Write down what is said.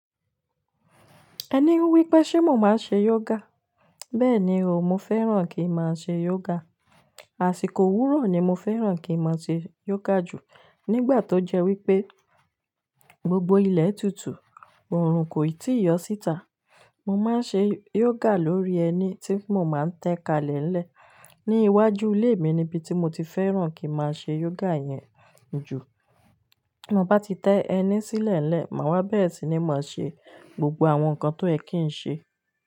Ẹní ń wí pé ṣé mo máa ń ṣe yoga. Bẹ́ẹ̀ni o, mo fẹ́ràn kí ń máa ṣe yoga. Àsìkò wúrà ni mo fẹ́ràn kí ń máa ṣe yoga jù nígbà tó jẹ́ wípé gbogbo ilẹ̀ tútù, oòrùn kò tíì yọ síta. Mo máa ń ṣe yoga lórí ẹní tí mo máa ń tẹ́ kalẹ̀ lẹ́ ẹ̀. Ní iwájú ilé mi ni ibi tí mo ti fẹ́ràn kí ń máa ṣe yoga yẹn jù. Mo bá ti tẹ ẹní sílẹ̀ lẹ́ ẹ̀, màá wá bẹ́ẹ̀ sì ni màá ṣe gbogbo àwọn nǹkan tó ẹ́ kí ń ṣe.